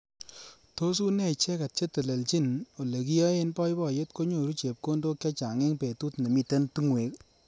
Tos une icheket che teleljin olekiyoei boiboyet konyoru chepkondok chechang eng betut nemitei tungwek.